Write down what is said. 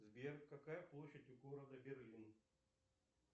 сбер какая площадь у города берлин